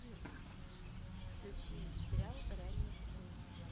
включи сериал реальные пацаны